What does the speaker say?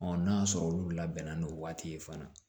n'a y'a sɔrɔ olu labɛnna n'o waati ye fana